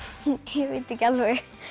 ég veit ekki alveg